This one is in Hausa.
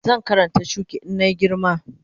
Zan Karanta shuki in na yi girma